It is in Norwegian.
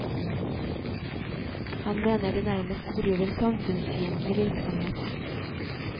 Han mener de nærmest bedriver samfunnsfiendtlig virksomhet.